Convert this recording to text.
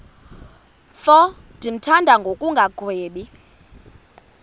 mfo ndimthanda ngokungagwebi